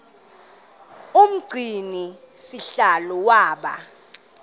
umgcini sihlalo waba